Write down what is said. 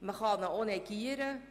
Man kann ihn auch negieren.